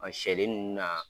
A sɛ dennin ninnu na